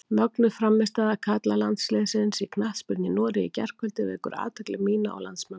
Mögnuð frammistaða karlalandsliðsins í knattspyrnu í Noregi í gærkvöldi vekur athygli mína og landsmanna.